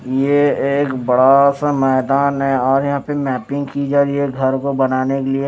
ये एक बड़ा सा मैदान है और यहां पे मैपिंग की जा रही है घर को बनाने के लिए।